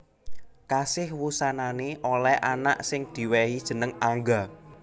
Kasih wusanané olèh anak sing diwèhi jeneng Angga